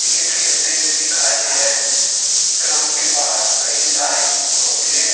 Cricket खेलते हुए दिखाई दे रहे हैं। ग्राउंड के बाहर कई सारे होटलें हैं।